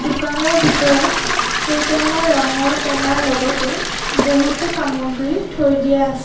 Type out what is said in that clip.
দোকানৰ ভিতৰত কেইটামান ৰঙৰ টেমাৰ লগতে বহুতো সামগ্ৰী থৈ দিয়া আছ--